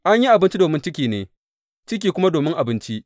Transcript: An yi abinci domin ciki ne, ciki kuma domin abinci.